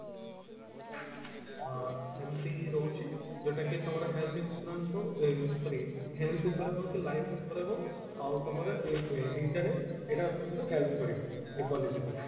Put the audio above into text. ଏମତି ରହୁଛି ଯୋଉଟା କି ତମର health insurance ହଉ ଏ sorry health ଉପରେ ହଉ କି life ଉପରେ ହଉ ଆଉ ତମର ଏଇ ଏଇ ଏଇଟା ରେ ଏଟା ତମକୁ help କରିବ ଏଇ policy ଟି